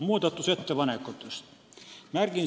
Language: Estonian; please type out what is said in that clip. Muudatusettepanekutest.